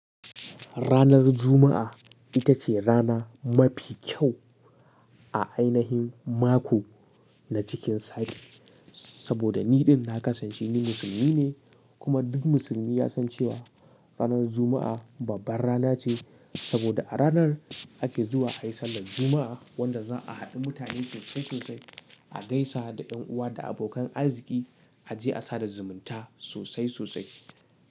Ranar Juma'a ita ce rana mafi kyau a ainahin mako na cikin sati. Saboda ni ɗin na kasance ni musulmi ne, kuma duk musulmi ya san cewa ranar Juma'a babbar rana ce. Saboda a ranar ake zuwa a yi sallar Juma'a wanda za a haɗu mutane sosai sosai, a gaisa da 'yan uwa da abokan arziki, a je a sada zumunta sosai sosai.